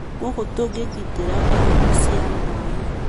gũkũ tũkĩgitĩra ihumo cia maĩ